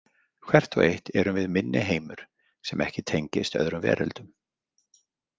Hvert og eitt erum við minniheimur sem ekki tengist öðrum veröldum.